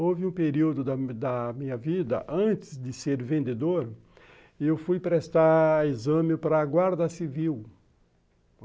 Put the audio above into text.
Houve um período da minha vida, antes de ser vendedor, eu fui prestar exame para a guarda civil.